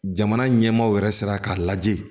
Jamana ɲɛmaaw yɛrɛ sera k'a lajɛ